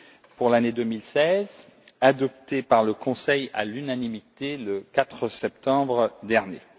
pour l'année 2016, adopté par le Conseil à l'unanimité le 4 septembre dernier.